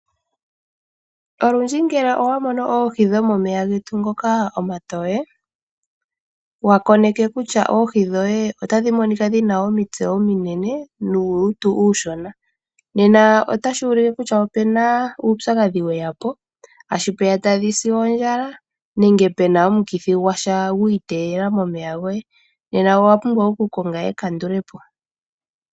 Olundji ngele owa mono oohi dhomomeya getu ngoka omatoye, wa koneke kutya oohi dhoye otadhi monika dhi na omitse ominene nuulutu uushona, nena otashi ulike kutya opu na uupyakadhi we ya po, tashi vulika tadhi si ondjala, nenge pu na omukithi gwasha gwi iteyela momeya goye, nena owa pumbwa okukonga ekandule po.